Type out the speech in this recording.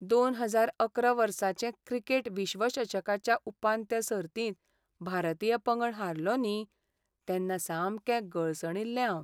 दोन हजार अकरा वर्साचें क्रिकेट विश्वचषकाच्या उपांत्य सर्तींत भारतीय पंगड हारलो न्ही, तेन्ना सामकें गळसणिल्लें हांव.